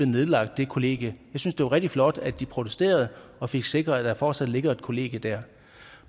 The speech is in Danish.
nedlagt det kollegie jeg synes det var rigtig flot at de protesterede og fik sikret at der fortsat ligger et kollegie der